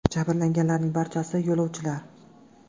Jabrlanganlarning barchasi yo‘lovchilar.